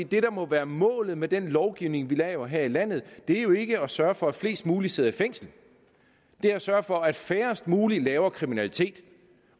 det der må være målet med den lovgivning vi laver her i landet er jo ikke at sørge for at flest mulige sidder i fængsel det er at sørge for at færrest mulige laver kriminalitet